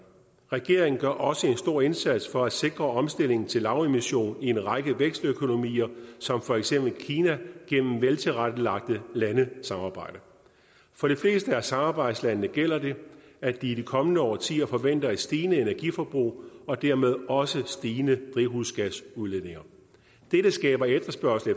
regeringen gør også en stor indsats for at sikre omstilling til lavemission i en række vækstøkonomier som for eksempel kina gennem veltilrettelagte landesamarbejder for de fleste af samarbejdslandene gælder det at de i de kommende årtier forventer et stigende energiforbrug og dermed også stigende drivhusgasudledninger dette skaber efterspørgsel